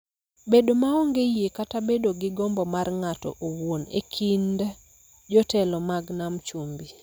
bedo maonge yie kata bedo gi gombo mar ng'ato owuon e kind jotelo mag Nam Chumbi